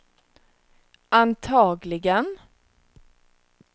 antagligen